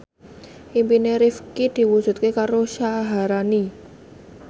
impine Rifqi diwujudke karo Syaharani